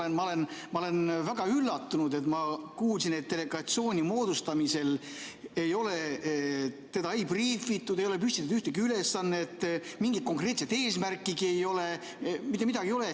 Tegelikult ma olen väga üllatunud, et ma kuulsin, et delegatsiooni moodustamisel ei ole teda briifitud, ei ole püstitatud ühtegi ülesannet, mingit konkreetset eesmärkigi ei ole, mitte midagi ei ole.